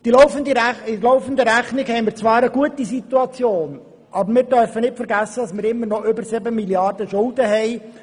In der laufenden Rechnung sieht die Situation zwar gut aus, aber wir dürfen nicht vergessen, dass wir immer noch über 7 Mrd. Franken Schulden haben.